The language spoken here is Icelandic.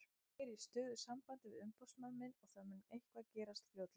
Ég er í stöðugu sambandi við umboðsmann minn og það mun eitthvað gerast fljótlega.